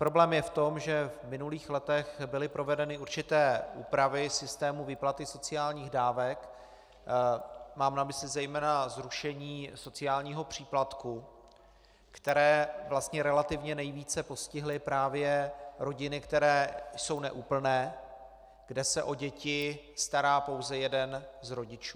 Problém je v tom, že v minulých letech byly provedeny určité úpravy systému výplaty sociálních dávek, mám na mysli zejména zrušení sociálního příplatku, které vlastně relativně nejvíce postihly právě rodiny, které jsou neúplné, kde se o děti stará pouze jeden z rodičů.